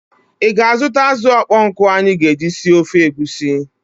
Ị ga-azụta azụ ọkpọọ nkụ anyị ga-eji sie ofe egusi?